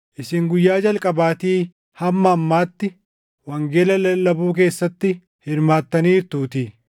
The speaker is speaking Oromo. isin guyyaa jalqabaatii hamma ammaatti wangeela lallabuu keessatti hirmaattaniirtuutii;